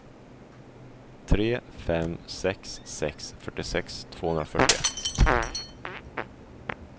tre fem sex sex fyrtiosex tvåhundrafyrtioett